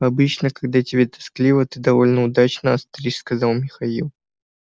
обычно когда тебе тоскливо ты довольно удачно остришь сказал михаил